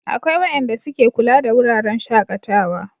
akwai wayanda su ke kula da wuraren shakatawa